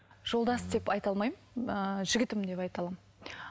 жолдас деп айта алмаймын ыыы жігітім деп айта аламын